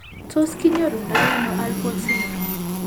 Tos kinyoru ndo ano Alport syndrome ?